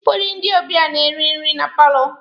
Ụfọdụ ndị ọbịa na-eri nri na paalọ.